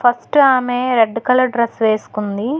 First ఆమె red colour dress వేసుకుంది.